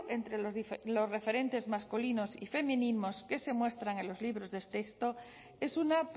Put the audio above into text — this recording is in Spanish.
entre los referentes masculinos y femeninos que se muestran en los libros de texto es una